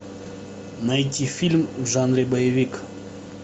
найти фильм в жанре боевик